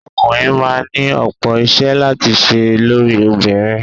Ọkùnrin máa ni ọ̀pọ̀ iṣẹ́ láti ṣe lórí obìnrin.